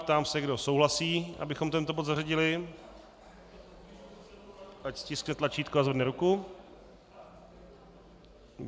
Ptám se, kdo souhlasí, abychom tento bod zařadili, ať stiskne tlačítko a zvedne ruku.